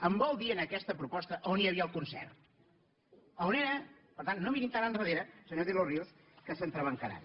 em vol dir en aquesta proposta on hi havia el concert on era per tant no mirin tan enrere senyor de los ríos que s’entrebancaran